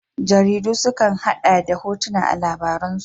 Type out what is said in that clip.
Jaridu su kan hada da hotuna a labaransu.